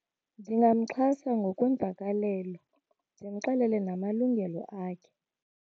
Ndingamxhasa ngokweemvakalelo, ndimxelele namalungelo akhe.